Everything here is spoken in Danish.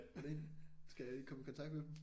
Hvordan skal jeg komme i kontakt med dem